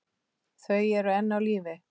Þau eru enn á lífi.